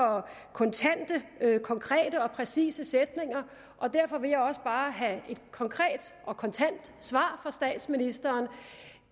kontante konkrete og præcise sætninger og derfor vil jeg også bare have et konkret og kontant svar fra statsministeren